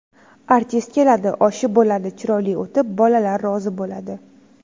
Artist keladi, oshi bo‘ladi, chiroyli o‘tib, bolalar rozi bo‘ladi.